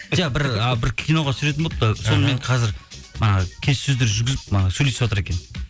жоқ і бір киноға түсіретін болыпты сонымен қазір манағы келіссөздер жүргізіп манағы сөйлесіватыр екен